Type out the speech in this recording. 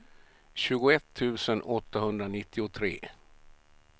tjugoett tusen åttahundranittiotre